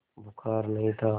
बुखार नहीं था